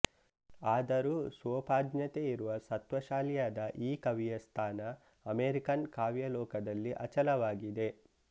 ಆದರೂ ಸ್ವೋಪಜ್ಞತೆಯಿರುವ ಸತ್ವಶಾಲಿಯಾದ ಈ ಕವಿಯ ಸ್ಥಾನ ಅಮೆರಿಕನ್ ಕಾವ್ಯಾಲೋಕದಲ್ಲಿ ಅಚಲವಾಗಿದೆ